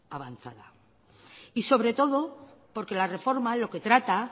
avanzada y sobre todo porque la reforma lo que trata